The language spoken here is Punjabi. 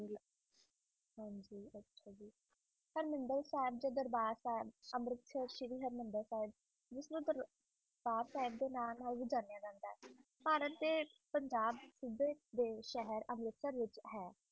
ਹਰਮਿੰਦਰ ਸਥਾਨ ਦੇ ਦਰਬਾਰ ਸਾਹਿਬ ਜਿਸਨੂੰ ਭਾਰਤ ਦੇ ਕਰਤਾਰ ਸਾਹਿਬ ਦੇ ਨਾਲ ਭੀ ਜਾਣਿਆ ਜਾਂਦਾ ਹੈ ਭਾਰਤ ਦੇ ਸੂਬੇ ਪੰਜਾਬ ਦੇ ਸ਼ਹਿਰ ਅੰਮ੍ਰਿਤਸਰ ਦੇ ਵਿਚ ਹੈ